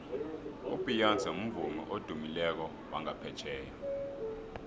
ubeyonce mvumi odumileko wangaphetjheya